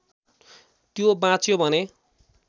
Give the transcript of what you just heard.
त्यो बाँच्यो भने